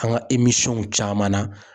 An ka caman na